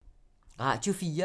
Radio 4